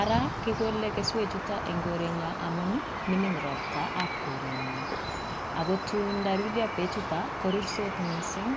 ara kikole keswechuto eng korenyo amun mining ropta ab korenyo, ako tun taruryo beechuta korursot mising.